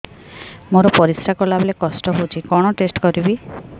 ମୋର ପରିସ୍ରା ଗଲାବେଳେ କଷ୍ଟ ହଉଚି କଣ ଟେଷ୍ଟ କରିବି